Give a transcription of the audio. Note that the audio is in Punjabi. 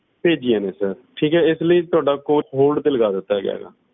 ਭੇਜੀਆਂ ਸੀ ਠੀਕ ਏ sir ਇਸ ਕਰਕੇ ਤੁਹਾਡਾ hold ਤੇ ਲਗਾ ਦਿੱਤਾ ਗਿਆ